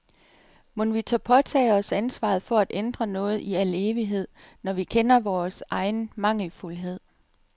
Mon vi tør påtage os ansvaret for at ændre noget i al evighed, når vi kender vores egen mangelfuldhed.